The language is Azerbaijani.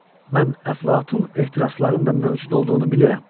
Mən əflatun etirazların da mövcud olduğunu bilirəm.